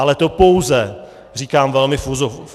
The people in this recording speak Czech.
Ale to pouze říkám velmi v uvozovkách.